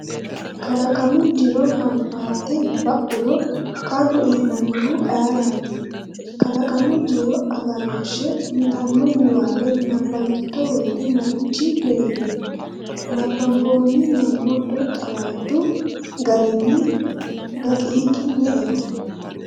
Kalaqamu jiro hafanfarte ba’uro qarru iillannohu ayeraati? “Kalaqamu Jiro Agarooshshe,” yitanno niwaawe nabbawitto woyte marichi leellihe? Nabbanboonni Mommoddo Xawadu garinni daqiiqi me”eho?